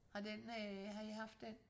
Har den øh har I haft den?